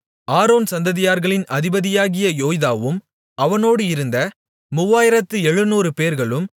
Aaron சந்ததியார்களின் அதிபதியாகிய யோய்தாவும் அவனோடு இருந்த மூவாயிரத்து எழுநூறுபேர்களும்